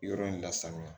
Yɔrɔ in lasanuya